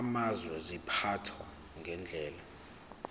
amazwe ziphathwa ngendlela